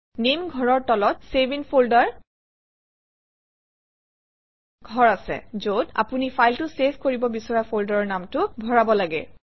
নামে ঘৰৰ তলত চেভ ইন ফল্ডাৰ ঘৰ আছে যত আপুনি ফাইলটো চেভ কৰিব বিচৰা ফল্ডাৰৰ নামটো ভৰাব লাগে